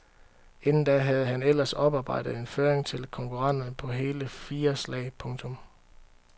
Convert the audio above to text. Inden da havde han ellers oparbejdet en føring til konkurrenterne på hele fire slag. punktum